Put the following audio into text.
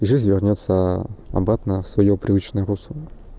жизнь вернётся обратно в своё привычное русло